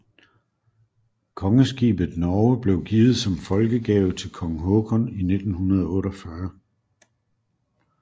Kongeskibet Norge blev givet som folkegave til kong Haakon i 1948